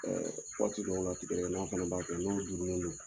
Waati dɔw la tigadɛgɛ na fana b'a kɛ n'o duurunnen don